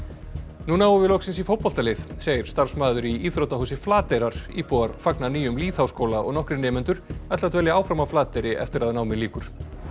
nú náum við loksins í fótboltalið segir starfsmaður í íþróttahúsi Flateyrar íbúar fagna nýjum lýðháskóla og nokkrir nemendur ætla að dvelja áfram á Flateyri eftir að námi lýkur